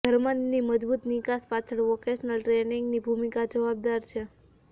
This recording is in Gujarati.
જર્મનીની મજબૂત નિકાસ પાછળ વોકેશનલ ટ્રેનિંગની ભૂમિકા જવાબદાર છે